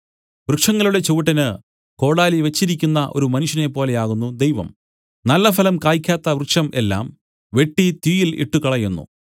വൃക്ഷങ്ങളുടെ ചുവട്ടിന് കോടാലി വെച്ചിരിക്കുന്ന ഒരു മനുഷ്യനെ പോലെയാകുന്നു ദൈവം നല്ലഫലം കായ്ക്കാത്ത വൃക്ഷം എല്ലാം വെട്ടി തീയിൽ ഇട്ടുകളയുന്നു